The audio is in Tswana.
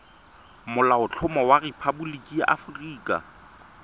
molaotlhomo wa rephaboliki ya aforika